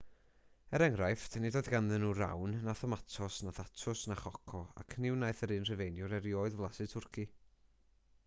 er enghraifft nid oedd ganddyn nhw rawn na thomatos na thatws na choco ac ni wnaeth yr un rhufeiniwr erioed flasu twrci